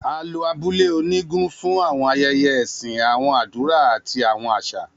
A lo abule onigun fun awọn ayẹyẹ ẹsin, awọn adura, ati awọn aṣa.